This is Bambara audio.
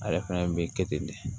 Ale fɛnɛ be kɛ ten de